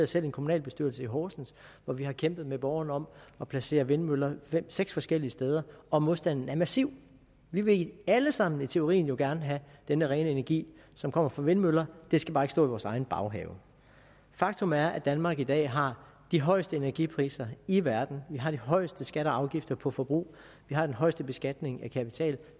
selv i en kommunalbestyrelse i horsens hvor vi har kæmpet med borgerne om at placere vindmøller seks forskellige steder og modstanden er massiv vi vil alle sammen i teorien gerne have denne rene energi som kommer fra vindmøller de skal bare ikke stå i vores egen baghave faktum er at danmark i dag har de højeste energipriser i verden vi har de højeste skatter og afgifter på forbrug vi har den højeste beskatning af kapital